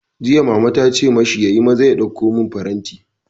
Jiya Mama tace mashi, yi maza ka ɗauko man faranti!